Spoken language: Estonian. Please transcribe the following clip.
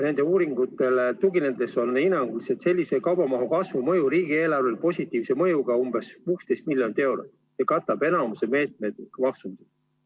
Nende uuringutele tuginedes on hinnanguliselt sellise kaubamahu kasvu mõju riigieelarvele positiivne, umbes 16 miljonit eurot, ja katab enamiku meetme maksumusest.